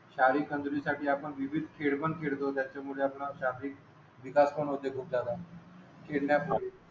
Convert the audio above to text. शारीरिक तंदुरी साठी आपण विविध त्याचा मुळे आपणास शारीरिक विकास पण होते खूपजयाद